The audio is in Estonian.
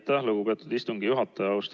Aitäh, lugupeetud istungi juhataja!